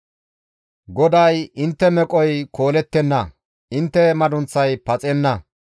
GODAY, «Intte meqoy koolettenna; intte madunththay paxenna.